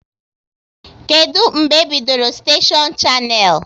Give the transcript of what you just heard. Kedụ mgbe e bidoro steshion Shannel?